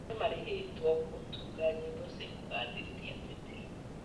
Aini nĩmarĩhĩtwo gũtunga nyĩmbo cia kũgathĩrĩria ateti